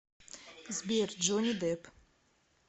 сбер джонни дэпп